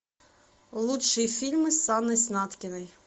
лучшие фильмы с анной снаткиной